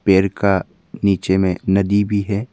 पेड़ का नीचे में नदी भी है।